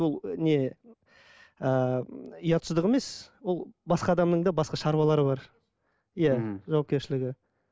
ол не ыыы ұятсыздық емес ол басқа адамның да басқа шаруалары бар иә жауапкершілігі